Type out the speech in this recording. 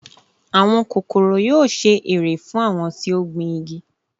Àwọn kékeré yóò ṣe èrè fún àwọn tí ó gbìn igi